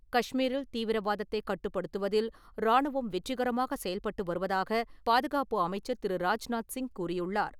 கஷ்மீரில் தீவிரவாதத்தைக் கட்டுப்படுத்துவதில் ராணுவம் வெற்றிகரமாக செயல்பட்டு வருவதாகப் பாதுகாப்பு அமைச்சர் திரு. ராஜ்நாத் சிங் கூறியுள்ளார்.